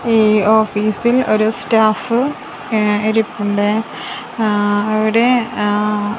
ഈ ഓഫീസിൽ ഒരു സ്റ്റാഫ് ഇ ഇരിപ്പുണ്ടേ ആ അവിടെ ആ--